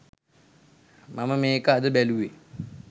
මම මේක අද බැලුවේ.